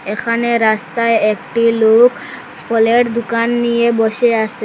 এখানে রাস্তায় একটি লোক ফলের দুকান নিয়ে বসে আসে।